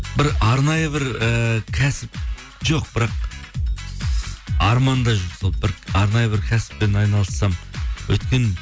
бір арнайы бір ііі кәсіп жоқ бірақ арманда жүр сол бір арнайы бір кәсіппен айналыссам өйткені